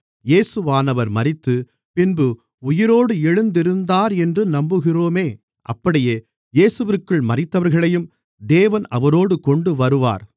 இயேசுவானவர் மரித்து பின்பு உயிரோடு எழுந்திருந்தாரென்று நம்புகிறோமே அப்படியே இயேசுவிற்குள் மரித்தவர்களையும் தேவன் அவரோடு கொண்டுவருவார்